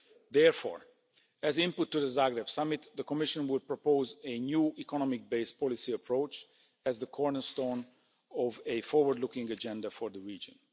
Therefore, as input to the Zagreb Summit, the Commission would propose a new economic based policy approach as the cornerstone of a forward looking agenda for the region.